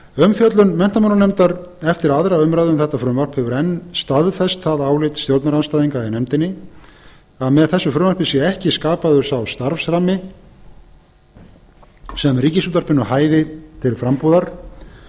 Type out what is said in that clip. umfjöllun menntamálanefndar eftir aðra umræðu um þetta frumvarp hefur enn staðfest það álit stjórnarandstæðinga í nefndinni að með þessu frumvarpi sé ekki skapaður sá starfsrammi sem ríkisútvarpinu hæfir til frambúðar